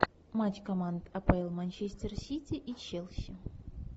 матч команд апл манчестер сити и челси